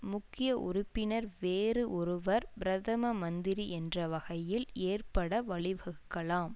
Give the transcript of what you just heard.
முக்கிய உறுப்பினர் வேறு ஒருவர் பிரதம மந்திரி என்ற வகையில் ஏற்பட வழிவகுக்கலாம்